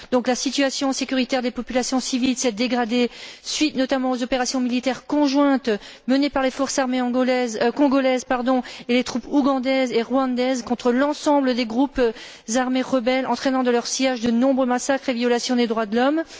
La situation sécuritaire des populations civiles s'est dégradée suite, notamment, aux opérations militaires conjointes menées par les forces armées congolaises et les troupes ougandaises et rwandaises contre l'ensemble des groupes armés rebelles, entraînant dans leur sillage de nombreux massacres et violations des droits de l'homme.